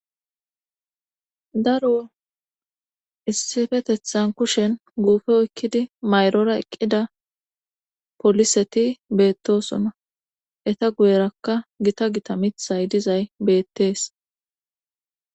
daro issifetethan kushen guufe ekkidi mayrora eqqida poliseti beettosunna eta guyerakka gita gita mithay dizay beettees